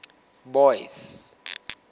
boyce